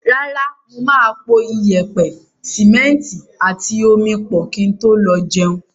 Rárá, mo máa po iyẹ̀pẹ̀, sìmẹ́ntì àti omi pọ̀ kí n tó lọ jẹun.